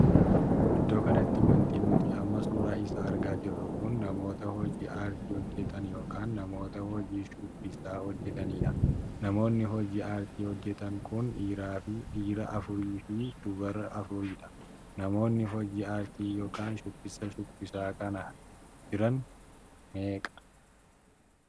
Iddoo kanatti wanti nuti amma suuraa isaa argaa jirru kun namoota hojii aartii hojjetan ykn namoota hojii shubbisaa hojjetaniidha. namoonni hojii aartii hojjetan kunis dhiiraa afurii fi dubara afuriidha. namoonni hojii aartii ykn shubbisa shubbisaa kan jiran kun meeqa?